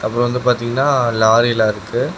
அப்றம் வந்து பாத்திங்கன்னா லாரிலாம் இருக்கு.